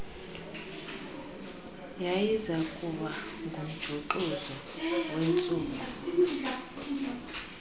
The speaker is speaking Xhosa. yayizakuba ngumjuxuzo wentsuku